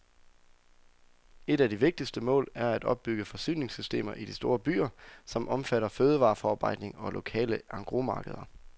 Et af de vigtigste mål er at opbygge forsyningssystemer i de store byer, som omfatter fødevareforarbejdning og lokale engrosmarkeder.